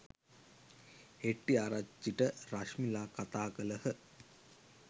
හෙට්‌ටිආරච්චිට රශ්මිලා කතා කළහ.